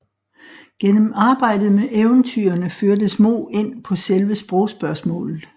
Gennem arbejdet med eventyrene førtes Moe ind på selve sprogspørgsmålet